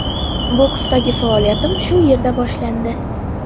Boksdagi faoliyatim shu yerda boshlandi.